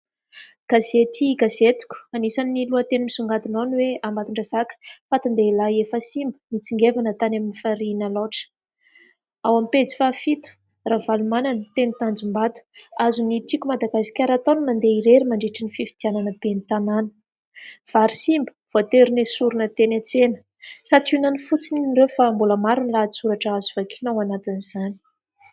Gazety Gazetiko. Anisan'ny lohateny misongadina ao ny hoe : "Ambatondrazaka fatin-dehailahy efa simba nitsingevina tany amin'ny farihin'i Alaotra", ao am-pejy fahafito : "Ravalomanana teny Tanjombato azon'ny Tiko i Madagasikara atao ny mandeha irery mandritry ny fifidianana ben'ny tanàna", "Vary simba voatery noesorina teny an-tsena". Santionany fotsiny ireo fa mbola maro ny lahatsoratra azo vakiana ao anatin'izany.